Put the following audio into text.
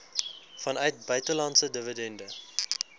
vanuit buitelandse dividende